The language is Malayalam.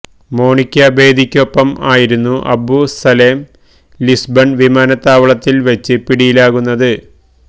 മോണിക്ക ബേദിയ്ക്കൊപ്പം ആയിരുന്നു അബു സലേം ലിസ്ബണ് വിമാനത്താവളത്തില് വച്ച് പിടിയിലാകുന്നത്